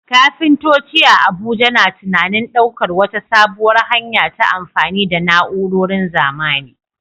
Kafintoci a Abuja na tunanin daukar wata sabuwar hanya ta amfani da na'urorin zamani.